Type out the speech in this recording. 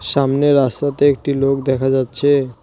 সামনে রাস্তাতে একটি লোক দেখা যাচ্ছে।